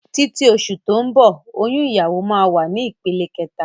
Títí oṣù tó ń bọ̀ oyún ìyàwó máa wà ní ìpele kẹta